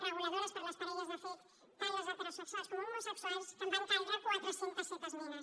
reguladores per a les parelles de fet tant les heterosexuals com homosexuals que van caldre quatre cents i set esmenes